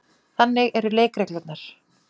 Þannig eru leikreglurnar.